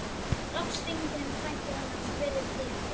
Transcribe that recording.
Loks hringir hann í frænku hennar og spyr tíðinda.